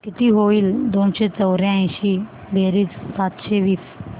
किती होईल दोनशे चौर्याऐंशी बेरीज सातशे तीस